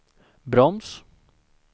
broms